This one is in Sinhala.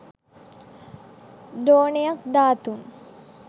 ද්‍රෝණයක් ධාතූන්